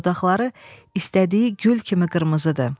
dodaqları istədiyi gül kimi qırmızıdır.